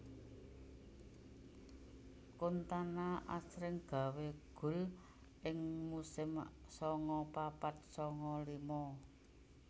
Kantona asring gawé gol ing musim sanga papat sanga lima